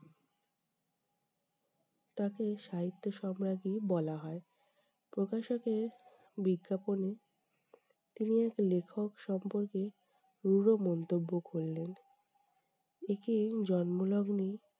তাকে সাহিত্য সম্রাজ্ঞী বলা হয়। প্রকাশকে বিজ্ঞাপনে তিনি এক লেখক সম্পর্কে রূঢ় মন্তব্য করলেন। একে জন্মলগ্নে-